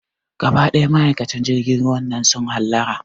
Gaba ɗaya ma'aikatan jirgin ruwan nan su hallara